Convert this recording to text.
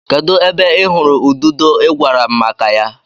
Kedu ebe ị hụrụ ududo ị gwara m maka ya?